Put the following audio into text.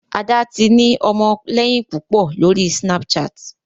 Ada tí ni ọmọléyìn púpọ lórí Snapchat